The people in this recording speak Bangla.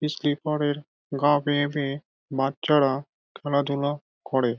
ইস্লিপার -এর গা বেয়ে বেয়ে বাচ্চারা খেলা ধুলা করে।